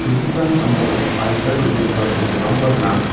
sambao adita dal·begipa sorokrangba gnang.